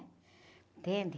Entende?